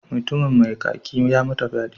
Mutumin mai kaki ya mata fyade.